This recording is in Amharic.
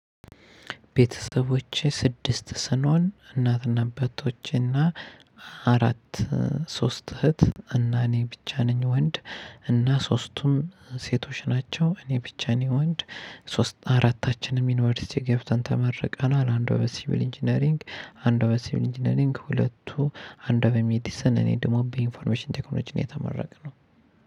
ቤተሰቦቼ ስድስት ስኖን እናትና አባቶቼና አራት ሶስት እህት እና እኔ ብቻ ነኝ ወንድ እና ሶስቱም ሴቶች ናቸው እኔ ብቻ ነኝ ወንድ። አራታችንን ዩንቨርስቲ ገብተን ተመርቀናል አንዷ በሲቪል ኢንጂነሪንግ አንዷ በሲቪል ኢንጂነሪንግ ሁለቱ አንዷ በሜዲሰን እኔ ደግሞ በኢንፎርሜሽን ቴክኖሎጂ ነው የተመረቅነው።